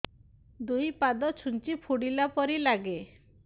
ଦୁଇ ପାଦ ଛୁଞ୍ଚି ଫୁଡିଲା ପରି ଲାଗେ